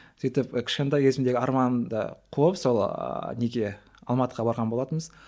сөйтіп і кішкентай кезімдегі арманымды қуып сол неге алматыға барған болатынбыз